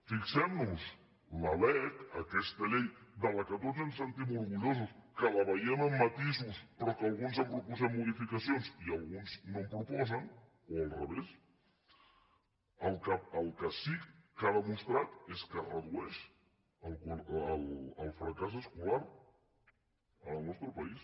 fixemnoshi la lec aquesta llei de la qual tots ens sentim orgullosos que la veiem amb matisos però que alguns hi han proposat modificacions i alguns no en proposen o al revés el que sí que ha demostrat és que redueix el fracàs escolar en el nostre país